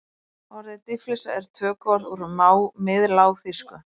Orðið dýflissa er tökuorð úr miðlágþýsku.